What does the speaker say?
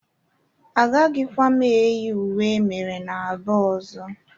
Agaghịkwa m eyi uwe emere n'Aba ọzọ.